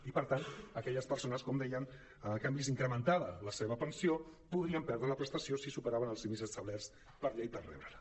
i per tant aquelles persones com dèiem que han vist incrementada la seva pensió podrien perdre la prestació si superaven els límits establerts per llei per rebre·la